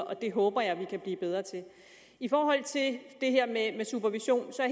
og det håber jeg vi kan blive bedre til i forhold til det her med med supervision er